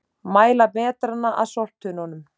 Mæla metrana að sorptunnunum